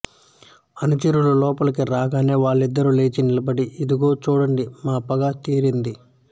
అనుచరులు లోపలికి రాగానే వాళ్ళిద్దరూ లేచి నిలబడి ఇదిగో చూడండి మా పగ తీరింది